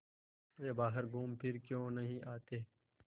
वे बाहर घूमफिर क्यों नहीं आते